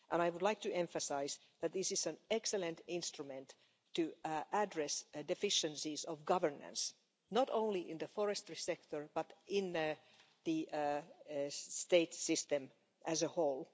I would like to emphasise that this is an excellent instrument for addressing deficiencies of governance, not only in the forestry sector but in the state system as a whole.